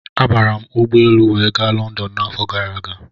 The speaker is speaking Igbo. Abara m ụgbọelu wee ga Lọndọn n'afọ gara aga.